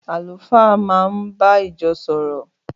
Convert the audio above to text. Àlùfáà náà ń bá ìjọ sọ̀rọ̀.